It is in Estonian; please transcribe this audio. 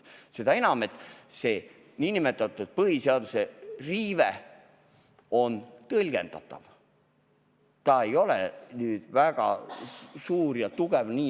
Seda enam, et see nn põhiseaduse riive on tõlgendatav, ta ei ole väga suur ja tugev.